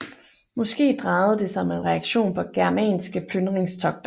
Måske drejede det sig om en reaktion på germanske plyndringstogter